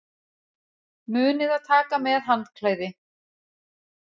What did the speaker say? Munið að taka með handklæði!